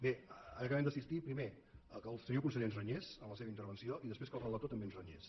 bé ara acabem d’assistir primer que el senyor conseller ens renyés en la seva intervenció i després que el relator també ens renyés